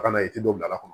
Ka na ye i tɛ dɔ bila a kɔnɔ